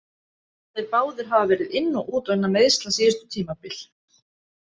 Þeir báðir hafa verið inn og út vegna meiðsla síðustu tímabil.